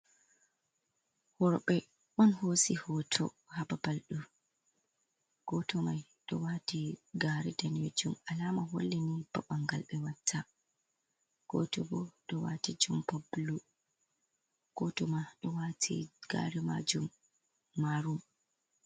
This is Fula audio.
Worbe on hosi hoto hababal ɗo . Goto mai do wati gare daneyjum, alama hollini babal ɓangal ɓe watta. Goto bo ɗo wati jumpa bablu goto ma do wati gari majum marun.